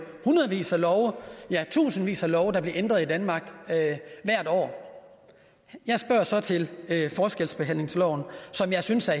hundredvis af love ja tusindvis af love der bliver ændret i danmark hvert år jeg spørger så til forskelsbehandlingsloven som jeg synes er